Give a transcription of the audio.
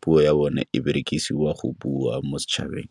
puo ya bone e berekisiwa go bua mo setšhabeng.